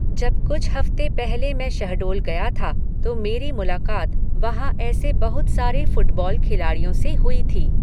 जब कुछ हफ़्ते पहले मैं शहडोल गया था, तो मेरी मुलाक़ात वहाँ ऐसे बहुत सारे फ़ुटबॉल खिलाड़ियों से हुई थी।